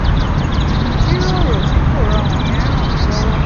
ìjíròrò tí kò rọrùn yẹn ràn mí lọ́wọ́